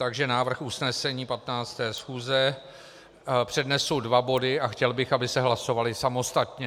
Takže návrh usnesení 15. schůze - přednesu dva body a chtěl bych, aby se hlasovaly samostatně.